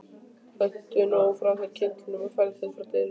Hentu nú frá þér kyndlinum og færðu þig frá dyrunum